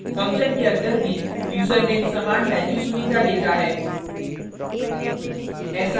function के अंदर भी यूज़रनेम समान value sunita लेता है